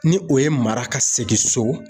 Ni o ye mara ka segin so